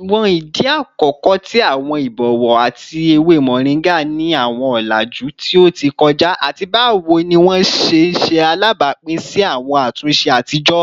awọn idi akọkọ ti awọn ibọwọ ati ewe moringa ni awọn ọlaju ti o ti kọja, ati bawo ni wọn ṣe ṣe alabapin si awọn atunṣe atijọ?